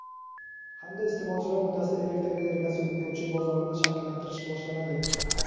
hamda iste’molchilar o‘rtasida elektr energiyasi ulgurji bozorini shakllantirish boshlanadi.